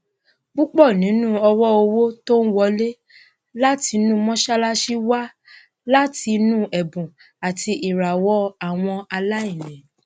púpọ ninu owóòwò tó ń wọlé látinú mọṣàlásì wá láti inú ẹbùn àti ìràwọ àwọn aláìní